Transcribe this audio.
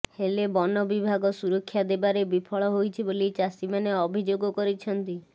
ହେଲେ ବନବିଭାଗ ସୁରକ୍ଷା ଦେବାରେ ବିଫଳ ହୋଇଛି ବୋଲି ଚାଷୀମାନେ ଅଭିଯୋଗ କରିଛନ୍ତି